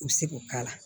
U bɛ se k'o k'a la